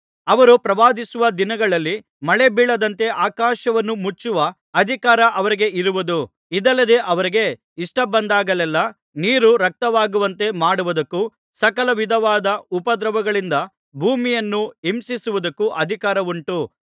ಅವರು ಪ್ರವಾದಿಸುವ ದಿನಗಳಲ್ಲಿ ಮಳೆಬೀಳದಂತೆ ಆಕಾಶವನ್ನು ಮುಚ್ಚುವ ಅಧಿಕಾರ ಅವರಿಗೆ ಇರುವುದು ಇದಲ್ಲದೆ ಅವರಿಗೆ ಇಷ್ಟಬಂದಾಗೆಲ್ಲಾ ನೀರು ರಕ್ತವಾಗುವಂತೆ ಮಾಡುವುದಕ್ಕೂ ಸಕಲ ವಿಧವಾದ ಉಪದ್ರವಗಳಿಂದ ಭೂಮಿಯನ್ನು ಹಿಂಸಿಸುವುದಕ್ಕೂ ಅಧಿಕಾರವುಂಟು